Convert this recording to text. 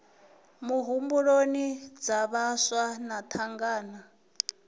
muhumbuloni dza vhaswa na thangana